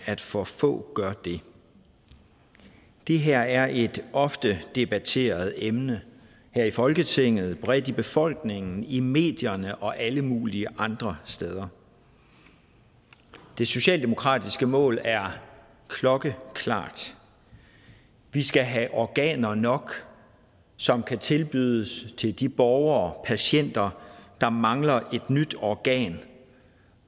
at for få gør det det her er et ofte debatteret emne her i folketinget bredt i befolkningen i medierne og alle mulige andre steder det socialdemokratiske mål er klokkeklart vi skal have organer nok som kan tilbydes til de borgere patienter der mangler et nyt organ